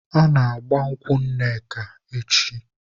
A na-agba nkwụ Nneka echi.